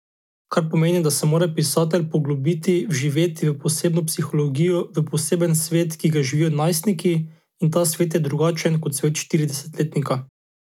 Kar pomeni, da se mora pisatelj poglobiti, vživeti v posebno psihologijo, v poseben svet, ki ga živijo najstniki, in ta svet je drugačen kot svet štiridesetletnika.